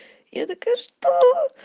я такая что